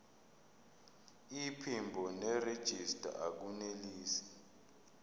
iphimbo nerejista akunelisi